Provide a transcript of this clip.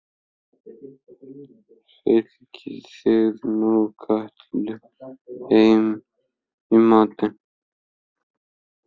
Fylgið þið nú Kötu heim í matinn